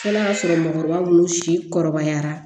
N'a y'a sɔrɔ mɔgɔkɔrɔba minnu si kɔrɔbayara